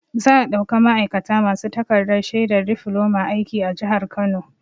Za'a ɗauka ma'aikata masu takarɗar shaidar difloma aiki a jihar Kano.